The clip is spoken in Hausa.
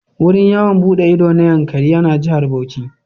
Wurin yawon buɗe ido na Yankari yana Jihar Bauchi.